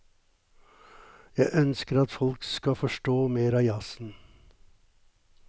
Jeg ønsker at folk skal forstå mer av jazzen.